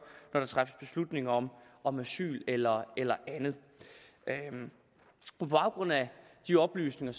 når der træffes beslutning om om asyl eller eller andet på baggrund af de oplysninger